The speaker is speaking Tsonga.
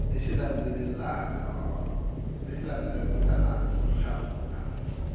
lexi landzelaka kutani u hlamula